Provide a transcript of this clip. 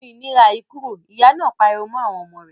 Nu ìríra yìí kúrò! Ìyá náà pariwo mọ́ àwọn ọmọ rẹ̀.